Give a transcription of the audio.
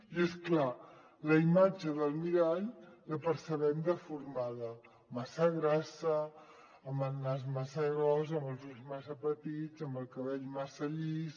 i és clar la imatge del mirall la percebem deformada massa grassa amb el nas massa gros amb els ulls massa petits amb el cabell massa llis